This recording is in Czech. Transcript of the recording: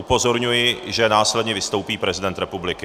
Upozorňuji, že následně vystoupí prezident republiky.